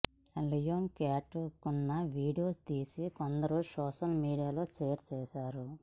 Leone క్యాట్వాక్ను video తీసి కొందరు సోషల్ మీడియాలో షేర్ చేశారు